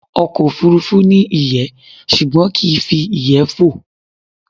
Ọkọ̀ òfurufú ni iyé ṣùgbọ́n kii fi iyẹ́ fó